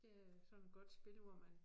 Det er sådan et godt spil hvor man